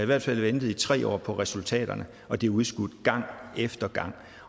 hvert fald har ventet i tre år på resultaterne og det er udskudt gang efter gang